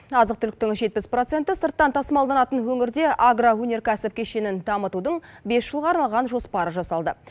азық түліктің жетпіс проценті сырттан тасымалданатын өңірде агроөнеркәсіп кешенін дамытудың бес жылға арналған жоспары жасалды